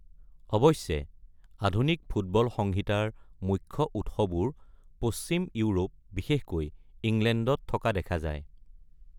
অৱশ্যে, আধুনিক ফুটবল সংহিতাৰ মুখ্য উৎসবোৰ পশ্চিম ইউৰোপ, বিশেষকৈ ইংলেণ্ডত থকা দেখা যায়।